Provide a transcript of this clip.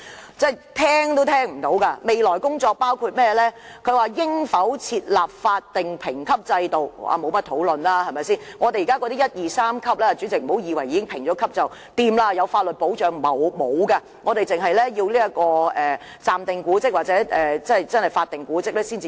所謂的"未來工作"，包括應否設立法定評級制度，但這點不用討論，我們現時已設有一、二、三級的評估，但主席，不要以為獲得評級便有法律保障，其實是沒有的，只有暫定古蹟或法定古蹟才能獲得法律保障。